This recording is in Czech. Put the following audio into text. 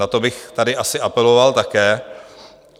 Na to bych tady asi apeloval také.